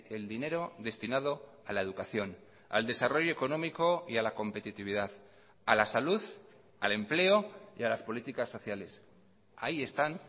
el dinero destinado a la educación al desarrollo económico y a la competitividad a la salud al empleo y a las políticas sociales ahí están